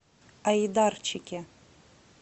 айдарчике